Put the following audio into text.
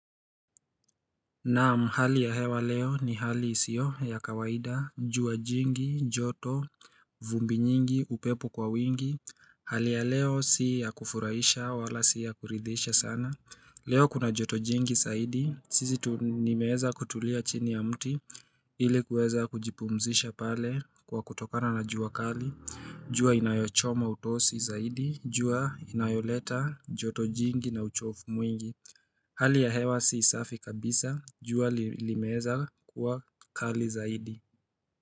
Naam, hali ya hewa leo ni hali isio ya kawaida, jua jingi, joto, vumbi nyingi, upepo kwa wingi. Hali ya leo si ya kufuraisha wala si ya kuridhisha sana. Leo kuna joto jingi saidi, sisi ni meweza kutulia chini ya mti, ilikuweza kujipumzisha pale kwa kutokana na jua kali. Jua inayochoma utosi zaidi, jua inayoleta joto jingi na uchofu mwingi. Hali ya hewa si safi kabisa jua limeeza kuwa kali zaidi.